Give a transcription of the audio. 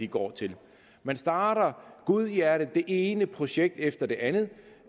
går til man starter godhjertet det ene projekt efter det andet